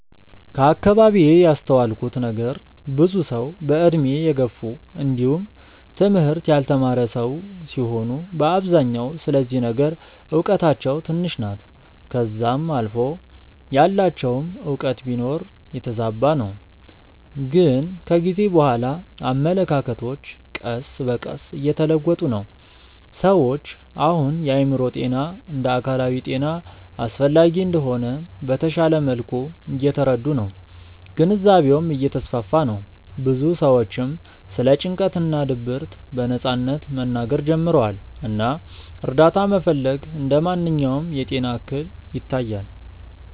ከአከባቢዬ ያስተዋልኩት ነገር ብዙ ሰዉ በእድሜ የገፉ እንዲውም ትምህርት ያልተማረ ሰዉ ሲሆኑ በአብዛኛው ስለዚህ ነገር እውቀታቸው ትንሽ ናት ከዛም አልፎ ያላቸውም እውቀት ቢኖር የተዛባ ነው ግን ከጊዜ በኋላ አመለካከቶች ቀስ በቀስ እየተለወጡ ነው። ሰዎች አሁን የአእምሮ ጤና እንደ አካላዊ ጤና አስፈላጊ እንደሆነ በተሻለ መልኩ እየተረዱ ነው ግንዛቤውም እየተስፋፋ ነው ብዙ ሰዎችም ስለ ጭንቀት እና ድብርት በነጻነት መናገር ጀምረዋል እና እርዳታ መፈለግ እንደ ማንኛውም የጤና እክል ይታያል።